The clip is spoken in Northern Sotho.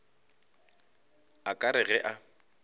a ka re ge a